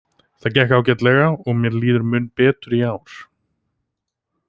Það gekk ágætlega og mér líður mun betur í ár.